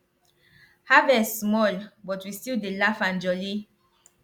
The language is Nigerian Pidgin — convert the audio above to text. harvest small but we still dey laugh and jolly